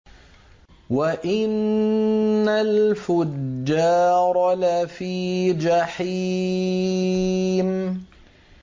وَإِنَّ الْفُجَّارَ لَفِي جَحِيمٍ